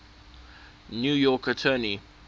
new york attorney